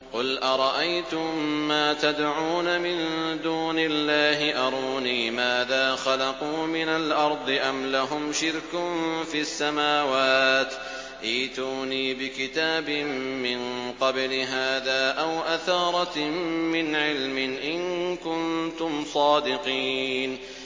قُلْ أَرَأَيْتُم مَّا تَدْعُونَ مِن دُونِ اللَّهِ أَرُونِي مَاذَا خَلَقُوا مِنَ الْأَرْضِ أَمْ لَهُمْ شِرْكٌ فِي السَّمَاوَاتِ ۖ ائْتُونِي بِكِتَابٍ مِّن قَبْلِ هَٰذَا أَوْ أَثَارَةٍ مِّنْ عِلْمٍ إِن كُنتُمْ صَادِقِينَ